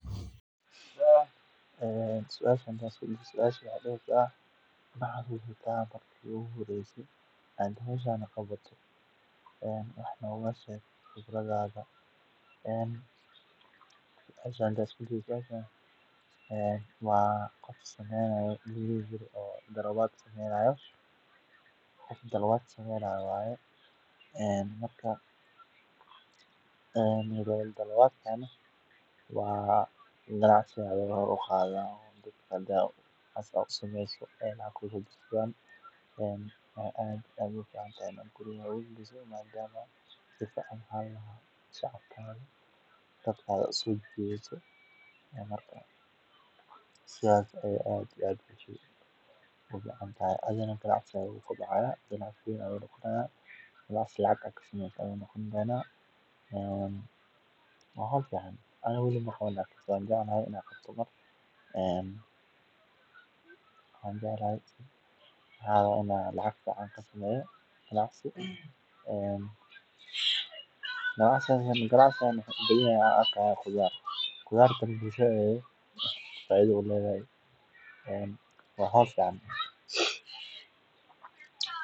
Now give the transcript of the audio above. Suasha oo ah macalinkaga Macalinka ardayda baraya waa shaqsi muhiim ah oo door weyn ka ciyaara kobcinta aqoonta, anshaxa, iyo mustaqbalka ardayda. Waa hogaamiye waxbarasho oo u xil saaran inuu ardayda siiyo faham wanaagsan oo ku saabsan maadooyinka ay bartaan, isla markaana ku dhiirrigeliya inay yeeshaan xirfado nololeed oo wanaagsan. Macalinku ma aha oo kaliya qof wax dhiga, balse sidoo kale waa tusaale fiican oo ardaydu ka daydaan akhlaaqda, dadaalka, iyo ixtiraamka. Wuxuu adeegsadaa habab kala duwan si uu u gaarsiiyo casharrada,